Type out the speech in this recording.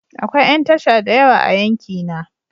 Akwai yan tasha da yawa a yankina.